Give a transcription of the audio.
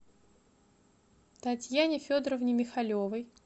татьяне федоровне михалевой